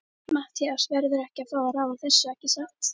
Matthías verður að fá að ráða þessu, ekki satt?